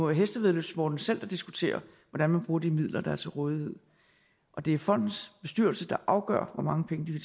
hestevæddeløbssporten selv der diskuterer hvordan man bruger de midler der er til rådighed og det er fondens bestyrelse der afgør hvor mange penge de